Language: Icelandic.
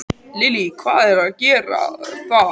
Lillý: Hvað á að gera þar?